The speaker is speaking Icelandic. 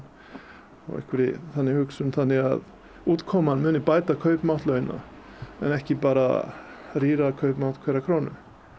og einhverri þannig hugsun þannig að útkoman muni bæta kaupmátt launa en ekki bara rýra kaupmátt hverrar krónu